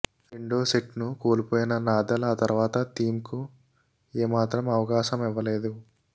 రెండో సెట్ను కోల్పోయిన నాదల్ ఆ తర్వాత థీమ్కు ఏ మాత్రం అవకాశమివ్వలేదు